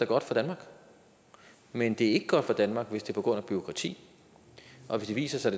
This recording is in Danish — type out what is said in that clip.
godt for danmark men det er ikke godt for danmark hvis det er på grund af bureaukrati og hvis det viser sig